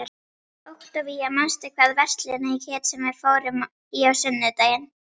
Októvía, manstu hvað verslunin hét sem við fórum í á sunnudaginn?